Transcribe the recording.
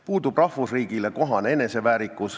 Puudub rahvusriigile kohane eneseväärikus.